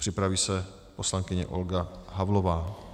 Připraví se poslankyně Olga Havlová.